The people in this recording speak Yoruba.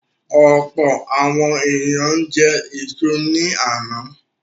Ọ̀pọ̀ àwọn ènìyàn jẹ èso ní àná.